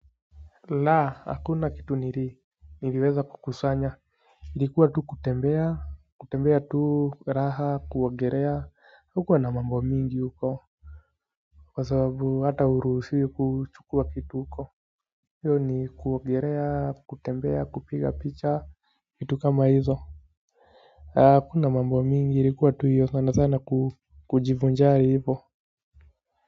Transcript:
La hakuna kitu nili niliweza kukusanya ilikuwa tu kutembea kutembea tu raha kuogelea hakukuwa na mambo mingi huko kwa sababu hata huruhusiwi kuchukua kitu huko hiyo ni kuogelea kutembea kupiga picha vitu kama hizo hakuna mambo mingi ilikuwa tu hiyo sana sana kujivinjari hivo.